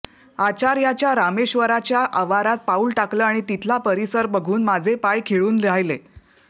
आचर्याच्या रामेश्वराच्या आवारात पाऊल टाकलं आणि तिथला परिसर बघून माझे पाय खिळून राहिले